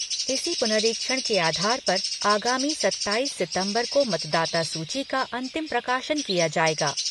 इसी पुनरीक्षण के आधार पर आगामी सत्ताईस सितंबर को मतदाता सूची का अंतिम प्रकाशन किया जाएगा।